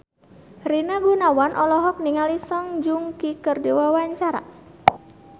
Rina Gunawan olohok ningali Song Joong Ki keur diwawancara